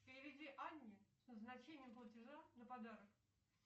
переведи анне с назначением платежа на подарок